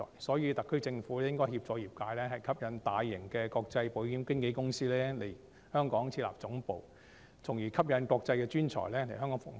所以，特區政府應該協助業界吸引大型的國際保險經紀公司來港設立總部，從而吸引國際專才來港服務。